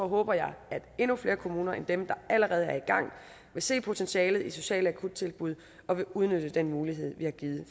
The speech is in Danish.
håber jeg at flere kommuner end dem der allerede er i gang vil se potentialet i sociale akuttilbud og vil udnytte den mulighed vi har givet